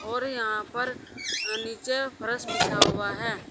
और यहां पर नीचे फर्श बिछा हुआ है।